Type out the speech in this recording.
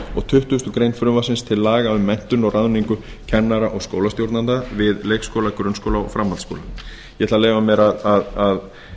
og tuttugustu greinar frumvarpsins til laga um menntun og ráðningu kennara og skólastjórnenda við leikskóla grunnskóla og framhaldsskóla ég ætla að leyfa mér að